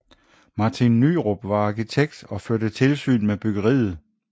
Martin Nyrop var arkitekt og førte tilsyn med byggeriet